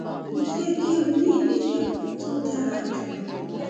mo fẹ kí o ní ìlera tó dára jù lọ